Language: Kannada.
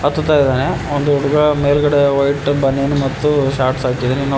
ಹತ್ತುತಾಯಿದ್ದಾನೆ ಒಂದು ಹುಡುಗ ಮೇಲ್ಗಡೆ ವೈಟ್ ಬನಿಯನ್ ಮತ್ತು ಶಾರ್ಟ್ಸ್ ಹಾಕಿದ್ದಾನೆ ಇನ್ನೊಬ್ಬ --